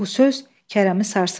Bu söz Kərəmi sarsıtdı.